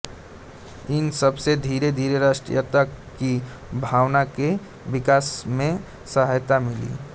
इन सबसे धीरेधीरे राष्ट्रीयता की भावना के विकास में सहायता मिली